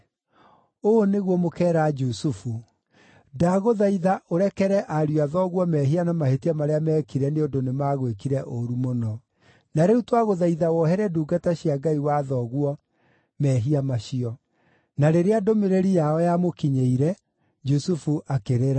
‘Ũũ nĩguo mũkeera Jusufu: ndagũthaitha ũrekere ariũ a thoguo mehia na mahĩtia marĩa meekire nĩ ũndũ nĩmagwĩkire ũũru mũno.’ Na rĩu twagũthaitha wohere ndungata cia Ngai wa thoguo mehia macio.” Na rĩrĩa ndũmĩrĩri yao yamũkinyĩire, Jusufu akĩrĩra.